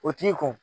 O t'i ko